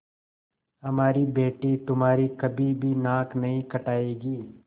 हमारी बेटी तुम्हारी कभी भी नाक नहीं कटायेगी